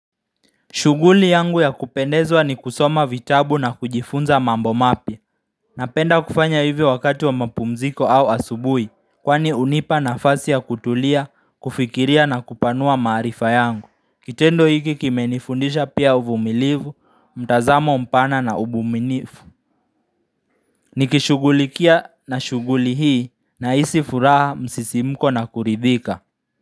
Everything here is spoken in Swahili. Shughuli yangu ya kupendezwa ni kusoma vitabu na kujifunza mambo mapya Napenda kufanya hivyo wakati wa mapumziko au asubui Kwani unipa nafasi ya kutulia, kufikiria na kupanua maarifa yangu Kitendo hiki kimenifundisha pia uvumilivu, mtazamo mpana na ubuminifu Nikishugulikia na shuguli hii nahisi furaha msisimuko na kuridhika.